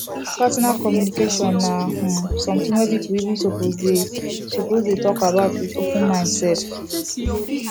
partner communication na um something wey people even suppose dey suppose dey talk about with open mind sef